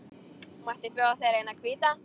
Mætti bjóða þér eina hvíta.